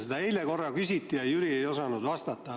Seda eile korra küsiti, aga Jüri ei osanud vastata.